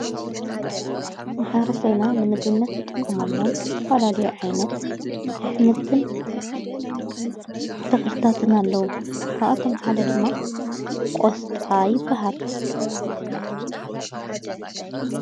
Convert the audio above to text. ማሕብረሰብና ንምግብነት ዝጥቆምሎም ዝተፈላልዮ ዓይነት ኣኅምልትን ተኽልታትና ኣለዉ። ካብኣቶም ሓደ ድማ ቖስጣ ይበሃል።